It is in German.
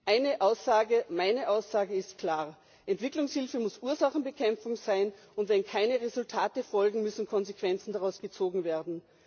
Eine Aussage meine Aussage ist klar Entwicklungshilfe muss Ursachenbekämpfung sein, und wenn keine Resultate folgen, müssen Konsequenzen daraus gezogen werden.